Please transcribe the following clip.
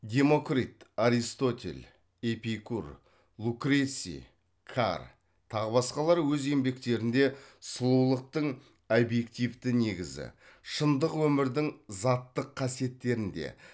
демокрит аристотель эпикур лукреций кар тағы басқалар өз еңбектерінде сұлулықтың объективті негізі шындық өмірдің заттық қасиеттерінде